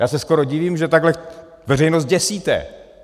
Já se skoro divím, že takhle veřejnost děsíte.